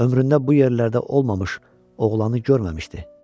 Ömründə bu yerlərdə olmamış oğlanı görməmişdi.